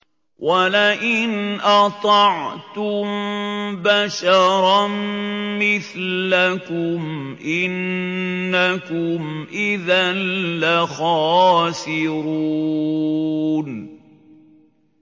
وَلَئِنْ أَطَعْتُم بَشَرًا مِّثْلَكُمْ إِنَّكُمْ إِذًا لَّخَاسِرُونَ